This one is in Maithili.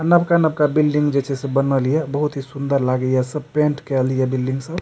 नवका-नवका बिल्डिंग जे से से बनले हिए बहुत ही सूंदर लागे हिय सब पेंट केएल हिय बिल्डिंग सब --